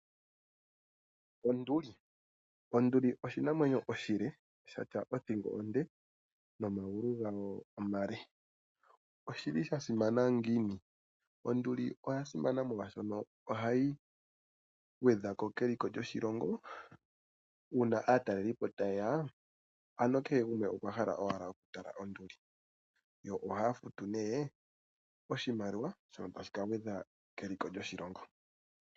Onduli, Onduli oshinamwenyo oshile shatya othingo onde nomagulu gayo omale , oshili sha simana ngiini? Onduli oya simana molwashono ohayi gwedhako keliko lyoshilongo uuna aatalelipo taye ya, ano kehe gumwe okwa hala owala okutala onduli, yo ohaya futu nee oshimaliwa shono tashi ka gwedha keliko lyoshilongo.